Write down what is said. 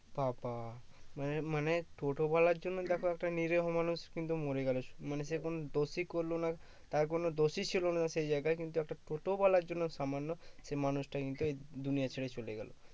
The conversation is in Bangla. বাবা মানে মানে টোটোওয়ালার জন্য দেখো একটা নিরীহ মানুষ কিন্তু মরে গেলো মানে সে কোনো দোষই করলো না তার কোনো দোষই ছিলো না সেই জায়গায় কিন্তু একটা টোটোওয়ালার জন্য সামান্য সেই মানুষটা কিন্তু দুনিয়া ছেরে চলে গেলো